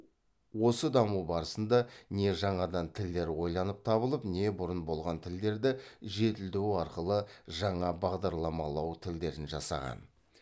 осы даму барысында не жаңадан тілдер ойланып табылып немесе бұрын болған тілдерді жетілдіру арқылы жаңа бағдарламалау тілдерін жасаған